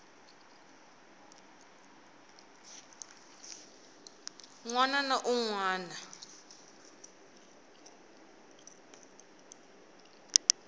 wana ni un wana u